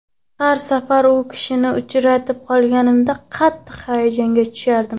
Har safar u kishini uchratib qolganimda, qattiq hayajonga tushardim.